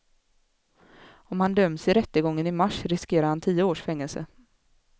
Om han döms i rättegången i mars riskerar han tio års fängelse.